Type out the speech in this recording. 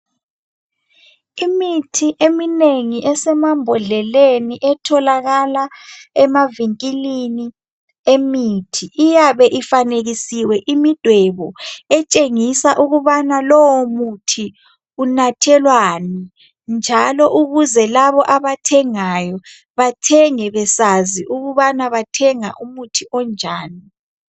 Imithi eminengi esemambodleleni etholakala emavinkilini emithi iyabe ifanekisiwe imidwebo etshengisa ukubana lowo muthi unathelwani njalo ukuze labo abathengayo bathenge besazi ukubana bathenga umuthi onjani.